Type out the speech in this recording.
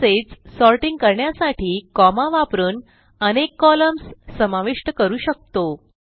तसेच सॉर्टिंग करण्यासाठी कॉमा वापरून अनेक कॉलम्न्स समाविष्ट करू शकतो